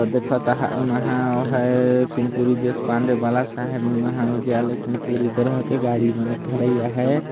देखत आहा एम्ह ओ आहाय कुनकुरी देशपाण्डे महाविद्यालय कुनकुरी कर हके गाड़ी मने ठढाय आहाय |